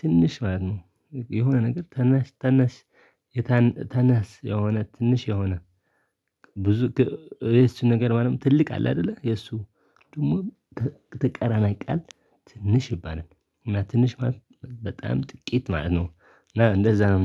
ትንሽ ማለት ነው። የሆነ ነገር ታናሽ ታናሽ ታናስ የሆነ ትንሽ የሆነ። ብዙ የሱ ነገር ማለት ትልቅ አለ አይደለ የሱ ደግሞ ትቃራና ቃል ትንሽ ይባላል። እና ትንሽ በጣም ጥቂት ማለት ነው። እና እንደዛ ነው